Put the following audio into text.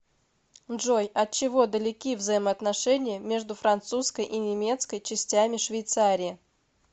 джой от чего далеки взаимоотношения между французской и немецкой частями швейцарии